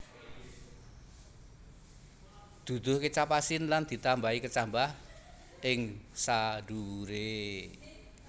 Duduh kecap asin lan ditambahi kecambah ing sadhuwure